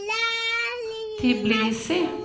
Tbilisi